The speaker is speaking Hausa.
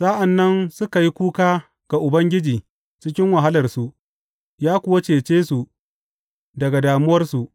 Sa’an nan suka yi kuka ga Ubangiji cikin wahalarsu, ya kuwa cece su daga damuwarsu.